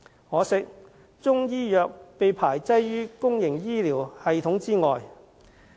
可惜，中醫藥被排擠於公營醫療系統之外。